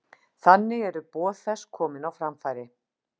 Þannig eru boð þess komin á framfæri.